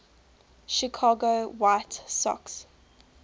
chicago white sox